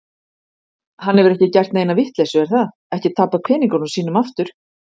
Hann hefur ekki gert neina vitleysu, er það, ekki tapað peningunum sínum aftur?